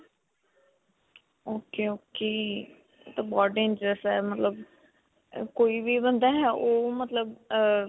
ok. ok. ਇਹ ਤਾਂ ਬਹੁਤ dangerous ਹੈ ਮਤਲਬ ਕੋਈ ਵੀ ਬੰਦਾ ਹੈ ਓਹ ਮਤਲਬ ਅਅ.